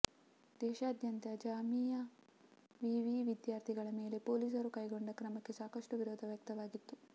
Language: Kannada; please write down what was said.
ದೇಶಾದ್ಯಂತ ಜಾಮಿಯಾ ವಿವಿ ವಿದ್ಯಾರ್ಥಿಗಳ ಮೇಲೆ ಪೊಲೀಸರು ಕೈಗೊಂಡ ಕ್ರಮಕ್ಕೆ ಸಾಕಷ್ಟು ವಿರೋಧ ವ್ಯಕ್ತವಾಗಿತ್ತು